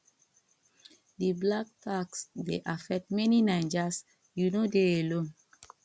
di 'black tax' dey affect many naijas you no dey alone.